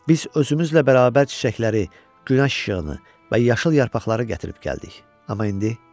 Biz özümüzlə bərabər çiçəkləri, günəş işığını və yaşıl yarpaqları gətirib gəldik, amma indi?